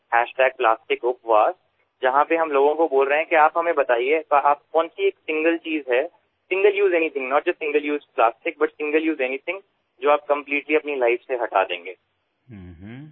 আমি প্লাষ্টিকাপভাছ ব্যৱহাৰ কৰিছো যত কোৱা হৈছে যে এনে কোনবিধ এবাৰ ব্যৱহৃত সামগ্ৰী আছে কেৱল প্লাষ্টিকেই নহয় যাক আপুনি সম্পূৰ্ণৰূপে নিজৰ জীৱনৰ পৰা আঁতৰাব বিচাৰিছে